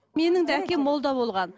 менің де әкем молда болған